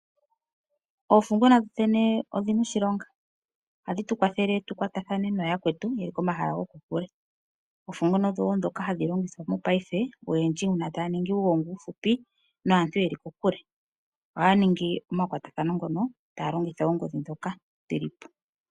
Oofunguna dho dhene odhi na oshilonga, ohadhi tu kwathele tu kwatathane nooyakwetu ye li komahala gokokule. Oofunguna odho wo ndhoka hadhi longithwa mopaife oyendji uuna taya ningi uugongi uufupi naantu ye li kokule ohaya ningi omakwatathano ngono taya longitha oongodhi ndhoka dhili po.